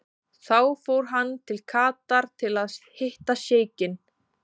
Þá fór hann til Katar til að hitta sjeikinn.